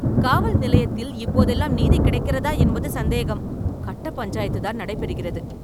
காவல் நிலையத்தில் இப்போதெல்லாம் நீதி கிடைக்கிறதா என்பது சந்தேகம். கட்டப்பஞ்சாயத்துதான் நடைபெறுகிறது.